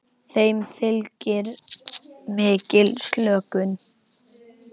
Þeim fylgir mikil slökun.